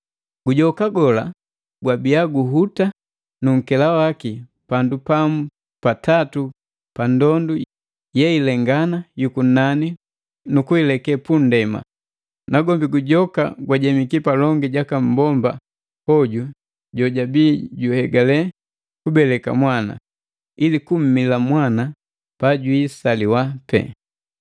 Gujoka gola gwabia guhuta nunkela waki pandu pamu pa tatu pa ndondu yeilengana yuku nani nukuileke kunndema. Nagwombi Gujoka gwajemiki palongi jaka mmbomba hoju jojabii juhegale kubeleka mwana, ili kummila mwana pajwiisaliwa pee.